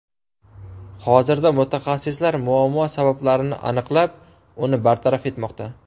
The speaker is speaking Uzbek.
Hozirda mutaxassislar muammo sabablarini aniqlab, uni bartaraf etmoqda.